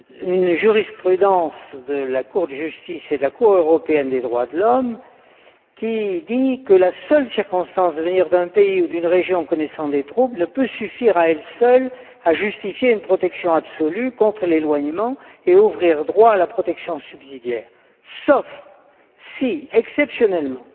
a une jurisprudence de la Cour de justice et de la Cour européenne des droits de l'homme qui dit que la seule circonstance de venir d'un pays ou d'une région connaissant des troubles ne peut suffire à elle seule à justifier une protection absolue contre l'éloignement et ouvrir droit à la protection subsidiaire, sauf si, exceptionnellement,